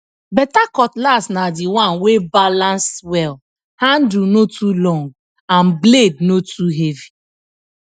better cutlass na the one wey balance wellhandle no too long and blade no too heavy